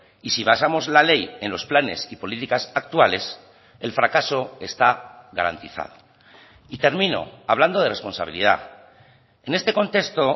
y si basamos la ley en los planes y políticas actuales el fracaso está garantizado y termino hablando de responsabilidad en este contexto